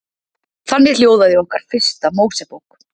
Þannig hljóðaði okkar fyrsta Mósebók.